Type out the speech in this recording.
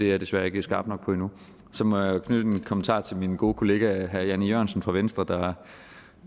jeg desværre ikke skarp nok på endnu så må jeg knytte en kommentar til min gode kollega herre jan e jørgensen fra venstre